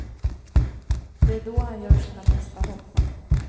Det är då han gör sina bästa hopp.